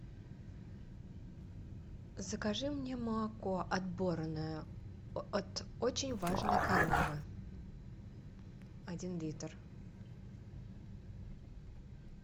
закажи мне молоко отборное от очень важной коровы один литр